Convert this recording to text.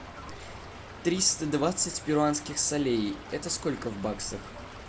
триста двадцать перуанских солей это сколько в баксах